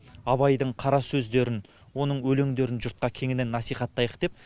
абайдың қара сөздерін оның өлеңдерін жұртқа кеңінен насихаттайық деп